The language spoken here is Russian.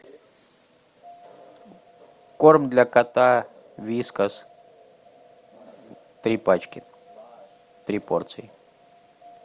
корм для кота вискас три пачки три порции